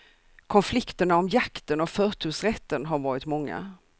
Konflikterna om jakten och förtursrätten har varit många.